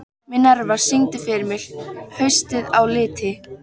Minerva, syngdu fyrir mig „Haustið á liti“.